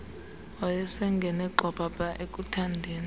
wayesengene gxwabhabha ekuthandeni